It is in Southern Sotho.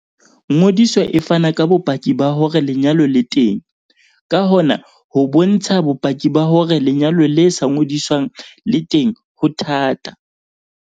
Ngodiso e fana ka bopaki ba hore lenyalo le teng, ka hona ho bontsha bopaki ba hore lenyalo le sa ngodiswang le teng ho thata.